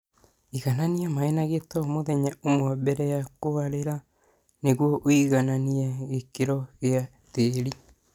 Inĩkĩrĩlia maĩĩ ma gĩito muthenya ũmwe mbele ya kũarĩla nĩguo ũigananie gĩkĩro gĩa tĩri